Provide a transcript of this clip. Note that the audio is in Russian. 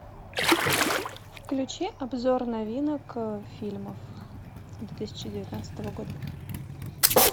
включи обзор новинок фильмов две тысячи девятнадцатого года